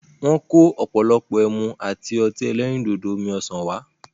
Wọ́n kò ọ̀pọ̀lọpọ̀ ẹmu àti ọtí ẹlẹ́rìndòdò omi-ọ̀sán wá.